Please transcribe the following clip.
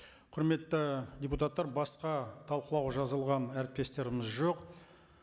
құрметті депутаттар басқа талқылауға жазылған әріптестеріміз жоқ